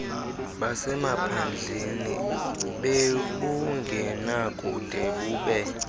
basemaphandleni bebungenakude bube